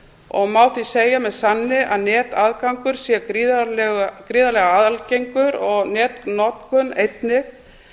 og má því með sanni segja að netaðgangur sé gríðarlega algengur og netnotkun einnig